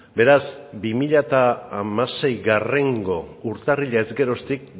beraz bi mila hamaseigarrena urtarrilaz geroztik